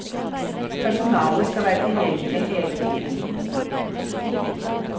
Personalet skal være tilgjengelig hele tiden.